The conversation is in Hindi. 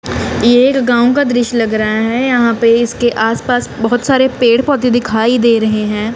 एक गांव का दृश्य लग रहा है यहां पे इसके आसपास बहुत सारे पेड़ पौधे दिखाई दे रहे हैं।